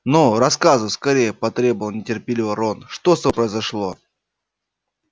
ну рассказывай скорее потребовал нетерпеливо рон что с тобой произошло